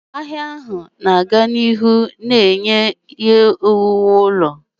Ahịa ahụ ga-aga n'ihu na-enye ihe owuwu ụlọ.